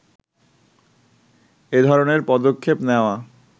এধরনের পদক্ষেপ নেয়া